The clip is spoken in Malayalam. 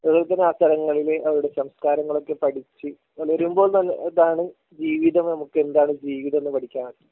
അതുപോലെതന്നെ ആ സ്ഥലങ്ങളിൽ അവരുടെ സംസ്കാരങ്ങളൊക്കെ പഠിച്ച് വരുമ്പോൾ നല്ല ഇതാണ് ജീവിതം നമുക്ക് എന്താണ് ജീവിതം എന്ന് പഠിക്കാൻ പറ്റും